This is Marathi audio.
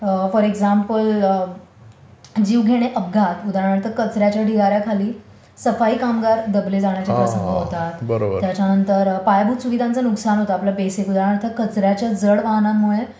फॉर एक्झांपल, जीवघेणे अपघात, उदाहरणार्थ कचऱ्याच्या ढिगाऱ्याखाली सफाई कामगार दबले जाण्याचा प्रसंग होतात, त्याच्यानंतर पायाभूत सुविधांचे नुकसान होतं आपल्या बेसिक उदाहरणार्थ कचऱ्याच्या जड वाहनांमुळे